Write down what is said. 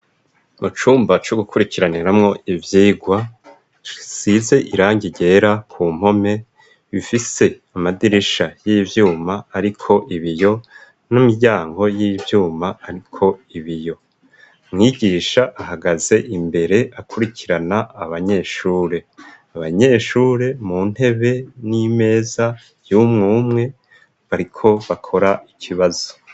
Mucumba co gukurikiraniramwo ivyigwa size irangi gera ku mpome bifise amadirisha y'ibyuma ariko ibiyo n'imiryango y'ibyuma ariko ibiyo mwigisha ahagaze imbere akurikirana abanyeshure abanyeshure mu ntebe n'imeza yumwe umwe bariko bakora Ikibazo.